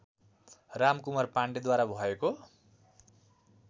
रामकुमार पाण्डेद्वारा भएको